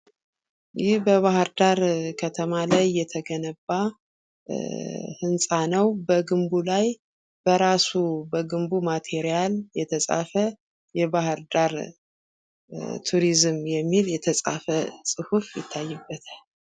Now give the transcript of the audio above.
ይህ በባህርዳር ከተማ ላይ የተገነባ እ ህንፃ ነው። በግንቡ ላይ በራሱ በግንቡ ማቴራል የተፃፈ የባህርዳር ቱሪዝም የሚል የተፃፈ ፁሁፍ ይታይበታል።